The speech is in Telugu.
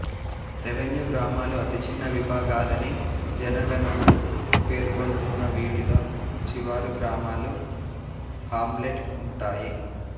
రెవెన్యూ గ్రామాలు అతిచిన్న విభాగాలని జనగణన పేర్కొంటున్నా వీటిలో శివారు గ్రామాలు హామ్లెట్ ఉంటాయి